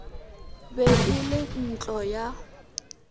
be e le ntlo ya